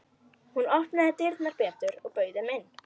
Hún opnaði dyrnar betur og bauð þeim inn.